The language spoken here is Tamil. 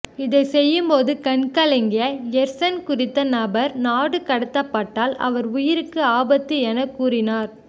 இதை செய்யும்போது கண்கலங்கிய எர்சன் குறித்த நபர் நாடுகடத்தப்பட்டால் அவர் உயிருக்கு ஆபத்து என கூறினார்